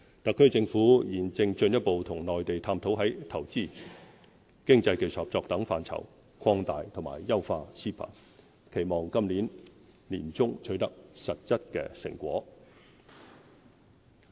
特區政府現正進一步與內地探討在投資、經濟技術合作等範疇，擴大和優化 CEPA， 期望今年年中取得實質成果。